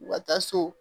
U ka taa so